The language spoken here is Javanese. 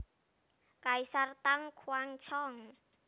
Kaisar Tang Xuanzong